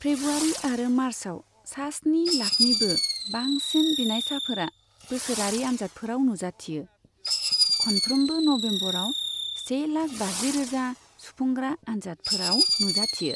फ्रेब्रुवारि आरो मार्चआव सा स्नि लाखनिबो बांसिन बिनायसाफोरा बोसोरारि आन्जादफोराव नुजाथियो, खनफ्रोमबो नबेम्बराव से लाख बाजि रोजा सुफुंग्रा आन्जादफोराव नुजाथियो।